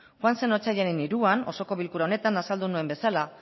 joan den otsailaren hiruan osoko bilkura honetan azaldu nuen bezala